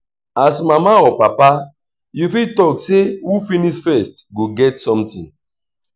as mama or papa you fit talk sey who finish first go get something